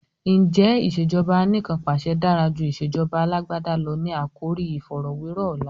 Ǹjẹ́ "ìsèjọba anìkanpàṣẹ dára jù ìsèjọba Alàgbàda lọ? " ni àkòrí iìfọ̀rọ̀wẹ́rọ̀ ọ̀la.